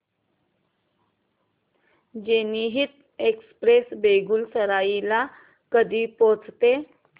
जनहित एक्सप्रेस बेगूसराई ला कधी पोहचते